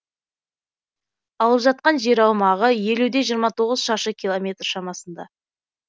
алып жатқан жер аумағы елу де жиырма тоғыз шаршы километр шамасында